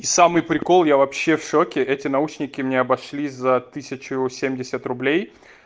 и самый прикол я вообще в шоке эти наушники мне обошлись за тысячу семьдесят рублей